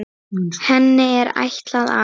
Henni er ætlað að